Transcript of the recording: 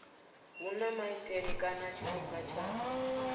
huna maitele kana tshifhinga tsha